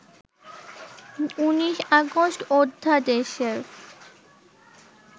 ১৯ August অধ্যাদেশের